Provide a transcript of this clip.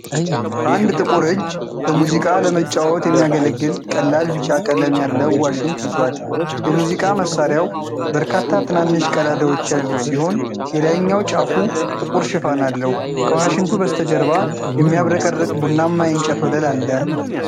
አንድ ጥቁር እጅ በሙዚቃ ለመጫወት የሚያገለግል ቀላል ቢጫ ቀለም ያለው ዋሽንት ይዟል። የሙዚቃ መሣሪያው በርካታ ትናንሽ ቀዳዳዎች ያሉት ሲሆን የላይኛው ጫፉ ጥቁር ሽፋን አለው። ከዋሽንቱ በስተጀርባ የሚያብረቀርቅ ቡናማ የእንጨት ወለል አለ።